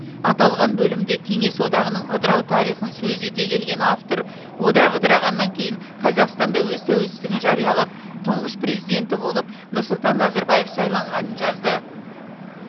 аталған бөлімде кеңес одағының ыдырау тарихын сөз ете келген автор одақ ыдырағаннан кейін қазақстан да өз тәуелсіздігін жариялап тұңғыш президенті болып нұрсұлтан назарбаев сайланғанын жазды